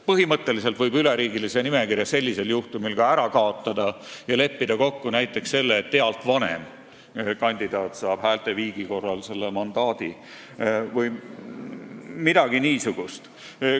Põhimõtteliselt võib üleriigilise nimekirja sellisel juhtumil ka ära kaotada ja leppida kokku näiteks selles, et ealt vanem kandidaat saab häälte viigi korral mandaadi vms.